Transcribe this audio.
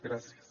gràcies